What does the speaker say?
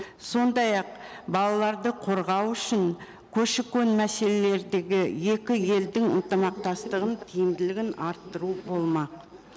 сондай ақ балаларды қорғау үшін көші қон мәселелердегі екі елдің ынтымақтастығын тиімділігін арттыру болмақ